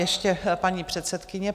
Ještě paní předsedkyně.